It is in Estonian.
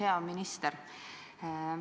Hea minister!